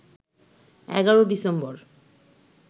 ১১ December